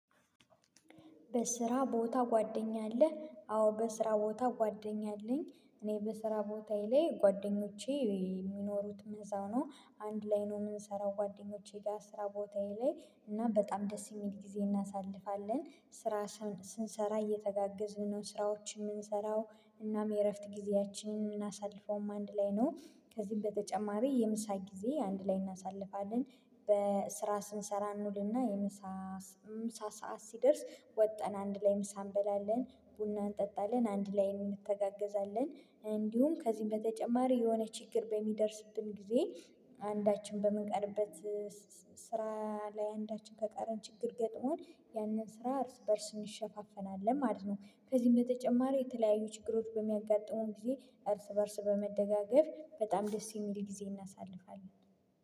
በስራ ቦታ ጓደኛ አለህ አዎ በስራ ቦታ ጓደኛ አለኝ። እኔ በስራ ቦታዬ ላይ ጓደኞቼ የሚኖሩትም እዚያው ነው አንድ ላይ ነው የምንሰራው ጓደኞቼ ጋር ስራ ቦታዬ ላይ እና በጣም ደስ የሚል ጊዜ እናሳልፋለን። ስራ ስንሰራ እየተጋገዝን ነው ስራዎችን የምንሰራው እናም የእረፍት ጊዜያችንን ምናሳልፈውም አንድ ላይ ነው። ከዚህ በተጨማሪ የምሳ ጊዜ አንድ ላይ እናሳልፋለን። በስራ ስንሰራ እንውልና የምሳ ምሳ ሰዓት ሲደርስ ወጥተን አንድ ላይ ምሳ እንበላለን ቡና እንጠጣለን አንድ ላይ እንተጋገዛለን። እንዲሁም ከዚህ በተጨማሪ የሆነ ችግር በሚደርስብን ጊዜ አንዳችን በምንቀርበት ስራ ላይ አንዳችን ከቀረን ችግር ገጥሞን ያንን ስራ እርስ በእርስ እንሸፋፈናለን ማለት ነው። ከዚህ በተጨማሪ የተለያዩ ችግሮች በሚያጋጥሙም ብዬ እርስ በእርስ በመደጋገፍ በጣም ደስ የሚል ጊዜ እናሳልፋለን